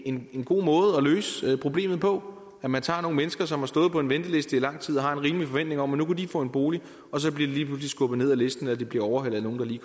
en god måde at løse problemet på at man tager nogle mennesker som har stået på en venteliste i lang tid og har en rimelig forventning om at nu kunne de få en bolig og så bliver de lige pludselig skubbet ned ad listen eller de bliver overhalet af nogle der lige